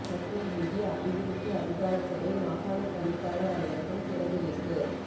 மட்டில் வீதி அபிவிருத்தி அதிகாரச்சபை மாகாணப் பணிப்பாளர் அலுவலகம் திறந்து வைப்பு